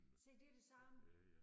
Se det det samme